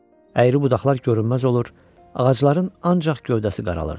Əyri budaqlar görünməz olur, ağacların ancaq gövdəsi qaralırdı.